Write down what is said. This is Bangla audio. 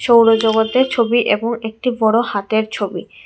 সৌরজগতের ছবি এবং একটি বড়ো হাতের ছবি।